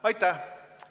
Aitäh!